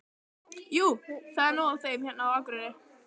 Jú, það er nóg af þeim hérna á Akureyri.